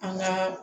An ka